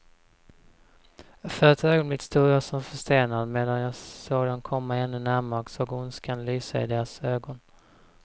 För ett ögonblick stod jag som förstenad, medan jag såg dem komma ännu närmare och såg ondskan lysa i deras ögon.